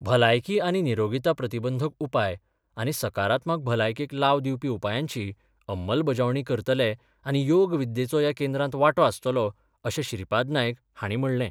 भलायकी आनी निरोगीता प्रतिबंधक उपाय आनी सकारात्मक भलायकेक लाव दिवपी उपायांची अंमलबजावणी करतले आनी योग विद्येचो या केंद्रांत वांटो आसतलो अशें श्रीपाद नायक हांणी म्हणलें.